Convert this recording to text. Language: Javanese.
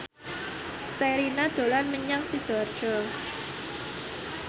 Sherina dolan menyang Sidoarjo